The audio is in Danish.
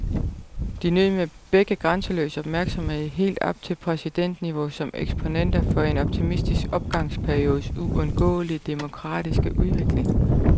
De nød begge grænseløs opmærksomhed helt op til præsidentniveau som eksponenter for en optimistisk opgangsperiodes uundgåelige demokratiske udvikling.